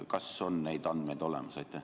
Kas need andmed on olemas?